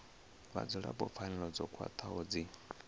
vhadzulapo pfanelo dzo khwathaho dzi